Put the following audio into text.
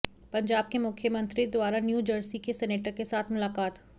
पंजाब के मुख्यमंत्री द्वारा न्यू जर्सी के सेनेटर के साथ मुलाकात